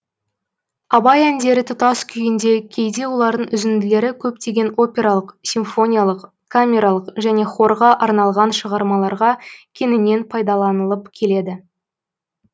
абай әндері тұтас күйінде кейде олардың үзінділері көптеген опералық симфониялық камералық және хорға арналған шығармаларға кеңінен пайдаланылып келеді